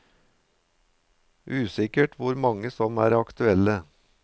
Usikkert hvor mange som er aktuelle.